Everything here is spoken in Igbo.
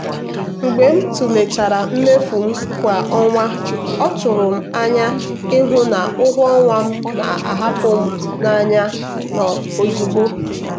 mgbe m tụlechara mmefu m kwa ọnwa ọ tụrụ m n'anya ịhụ na ụgwọ ọnwa m na-apụ n'anya ozugbo.